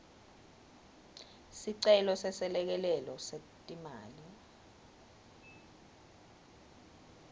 sicelo seselekelelo setimali